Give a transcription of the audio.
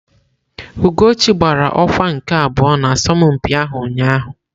Ugochi gbara ọkwa nke abụọ n'asọmpi ahụ ụnyahụ.